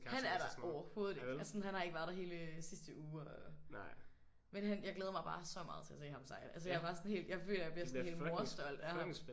Han er der overhovedet ikke! Altså sådan han har ikke været der hele sidste uge og øh men han jeg glæder mig bare så meget til at se ham så jeg altså jeg er bare sådan helt jeg føler at jeg bliver sådan helt morstolt af ham